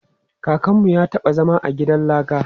Kakanmu ya taɓa zama a gidan laka.